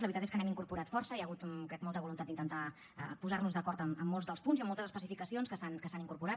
la veritat és que n’hem incorporat força hi ha hagut crec molta voluntat d’intentar posar nos d’acord en molts dels punts i amb moltes especificacions que s’han incorporat